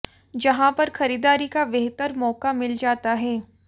जहां पर खरीदारी का बेहतर मौका मिल जाता है